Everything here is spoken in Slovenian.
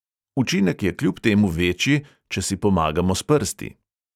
Učinek je kljub temu večji, če si pomagamo s prsti.